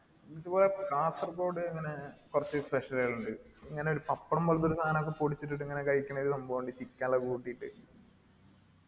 കാസർകോട് ഇങ്ങനെ കുറച്ച് കൾ ഇൻഡ് ഇങ്ങനെ പപ്പടം പോലത്തെ സാധനം ഒരു സാനൊക്കെ പൊടിച്ചിട്ടിട്ട് ഇങ്ങനെ കഴിക്കണ ഒരു സംഭവോ ഇൻഡ് chicken എല്ലോ കൂട്ടീട്ട്